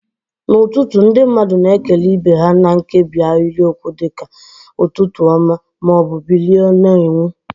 N'ụtụtụ, ndị mmadụ na-ekele ibe ha na nkebi ahịrịokwu dị ka "Ụtụtụ ọma" ma ọ bụ "Bilie na-enwu."